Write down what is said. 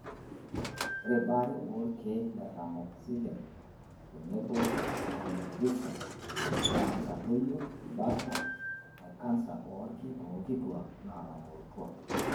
Ore baare oolkeek le tamoxifen tenebo raloxifen naa keitadoyio bata e kansa oolki toonkituak naatamorutua.